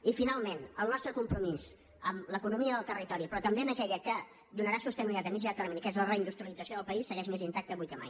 i finalment el nostre compromís amb l’economia del territori però també amb aquella que donarà sostenibilitat a mitjà i a llarg termini que és la reindustrialització del país segueix més intacte avui que mai